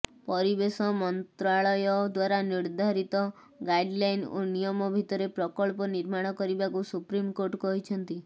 ପରିବେଶ ମନ୍ତ୍ରାଳୟ ଦ୍ୱାରା ନିର୍ଦ୍ଧାରିତ ଗାଇଡଲାଇନ୍ ଓ ନିୟମ ଭିତରେ ପ୍ରକଳ୍ପ ନିର୍ମାଣ କରିବାକୁ ସୁପ୍ରିମକୋର୍ଟ କହିଛନ୍ତି